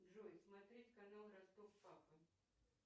джой смотреть канал ростов папа